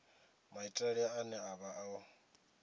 maitele ane a vha o